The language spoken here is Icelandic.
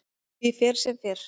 Því fer sem fer.